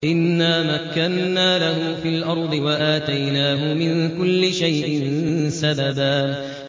إِنَّا مَكَّنَّا لَهُ فِي الْأَرْضِ وَآتَيْنَاهُ مِن كُلِّ شَيْءٍ سَبَبًا